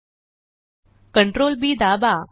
Ctrl Bदाबा